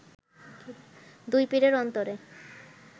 দুই পীরের অন্তরে